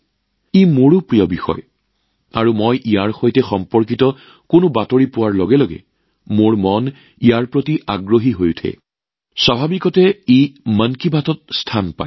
ই অৱশ্যেই মোৰ প্ৰিয় বিষয়ও আৰু ইয়াৰ সৈতে জড়িত যিকোনো খবৰ পোৱাৰ লগে লগে মোৰ মনটো ইয়াৰ ফালে ঢাল খায় আৰু ইয়াৰ উল্লেখ নিশ্চিতভাৱে মন কী বাতত পোৱাটো স্বাভাৱিক